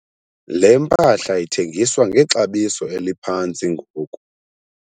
le mpahla ithengiswa ngexabiso eliphantsi ngoku